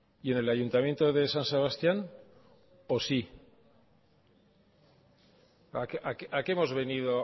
y en el ayuntamiento de san sebastián a qué hemos venido